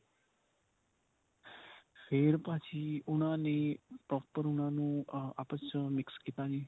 ਫੇਰ ਭਾਜੀ ਉਨ੍ਹਾਂ ਨੇ proper ਉਨ੍ਹਾਂ ਨੂੰ ਆਪਸ ਚ ਉਨ੍ਹਾਂ ਨੂੰ mix ਕੀਤਾ ਜੀ.